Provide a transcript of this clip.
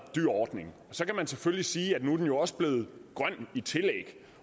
dyr ordning og så kan man selvfølgelig sige at nu er den jo også blevet grøn i tillæg